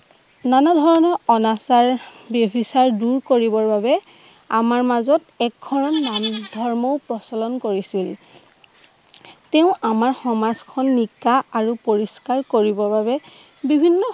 নানা ধৰণৰ অনাচাৰ ব্যভিচাৰ দূৰ কৰিবৰ বাবে আমাৰ মাজত এজন মানুহ ধৰ্ম প্ৰচলন কৰিছিল। তেওঁ আমাৰ সমাজখন নিষ্ঠা আৰু পৰিষ্কাৰ কৰিবৰ বাবে বিভিন্ন